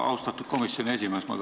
Austatud komisjoni esimees!